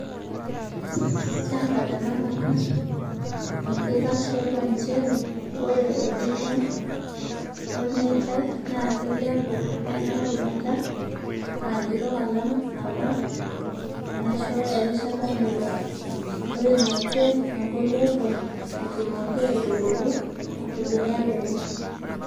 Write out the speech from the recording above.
Kiata tenakata enkitashioto njeree oree edoyio olmetai naakeilepu enaa rubata aakitok alang apa neishoo erishata lelo ooimaitia egoloto etumoki aitubulu ilbeniak lenye.